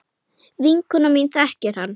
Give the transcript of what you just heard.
Vinkona mín þekkir hann.